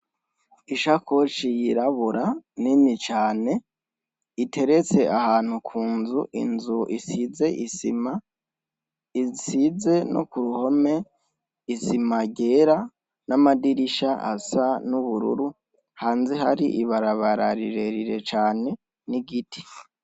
Ishakoshi yirabura nini cane iteretse ahantu kunzu inzu isize isima isize no kuruhome isima yera namadirisha asa nubururu hanze hari ibabarara rirerire cane nigiti